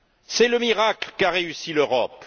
C'est le miracle qu'a réussi l'Europe.